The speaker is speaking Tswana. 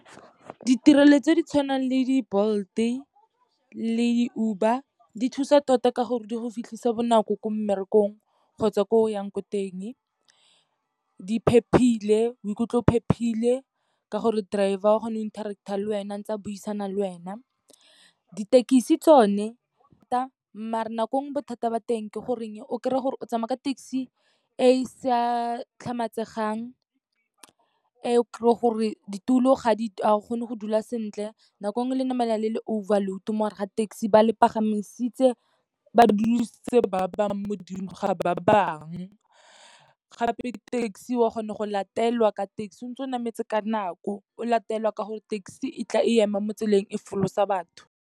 Ditirelo tse di tshwanang le di-Bolt-e le di-Uber di thusa tota ka gore di go fitlhisa bonako ko mmerekong kgotsa ko yang ko teng. Di phephile, o ikutlwa o phephile ka gore driver o kgona go iteract-tha le wena, ntse a buisana le wena. Dithekisi tsone, mare nako nngwe bothata ba teng ke goreng o kry-e gore o tsamaya ka taxi e sa tlhamaletsegang, e o kry-ang gore ditulo ga o kgone go dula sentle. Nako nngwe le namela le le overload mo gare ga taxi. Ba le pagamisitse ba dulisitse ba bangwe mo godimo ga ba bangwe. Gape taxi o a kgona go latelwa ka taxi ntse o nametse ka nako, o latelwa ka gore taxi e tla e ema mo tseleng e folosa batho.